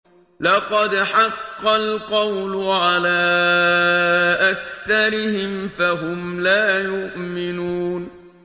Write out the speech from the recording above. لَقَدْ حَقَّ الْقَوْلُ عَلَىٰ أَكْثَرِهِمْ فَهُمْ لَا يُؤْمِنُونَ